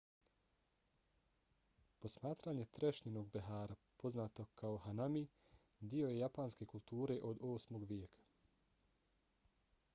posmatranje trešnjinog behara poznato kao hanami dio je japanske kulture od 8. vijeka